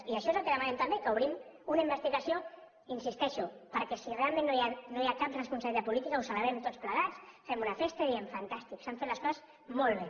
i això és el que demanem també que obrim una investigació hi insisteixo perquè si realment no hi ha cap responsabilitat política ho celebrem tots plegats fem una festa i diem fantàstic s’han fet les coses molt bé